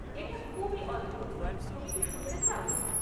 এটা খুবই অদ্ভুত, তুমি কি শুনতে চাও?